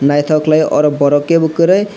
naitok kelai oro borok kebo koroi.